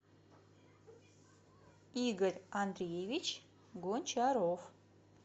игорь андреевич гончаров